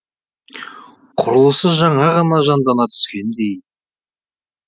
құрылысы жаңа ғана жандана түскендей